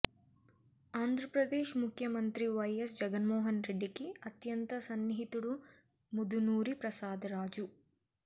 ఆంధ్రప్రదేశ్ ముఖ్యమంత్రి వైయస్ జగన్మోహన్ రెడ్డికి అత్యంత సన్నిహితుడు ముదునూరి ప్రసాదరాజు